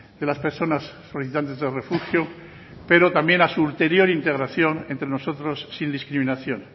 de las personas solicitantes de refugio pero también a su ulterior integración entre nosotros sin discriminación